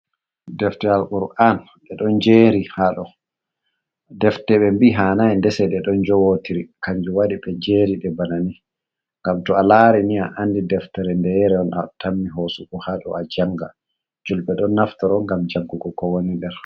Defte Alqur'an ɗeɗon njeeri haɗo, Defte ɓe mbi'i hannai ndese ndese ɗeɗon jowotiri, kanjum waɗi ɓe njeriɗe bana ni, ngam to'a laari ni ah andi deftere ndeyere atammi hosugo haɗo ajanga, julɓe ɗon naftoro ngam janngugo kowoni nder mai.